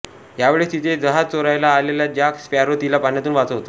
यावेळेस तिथे जहाज चोरायला आलेला जॅक स्पॅरो तिला पाण्यातून वाचवतो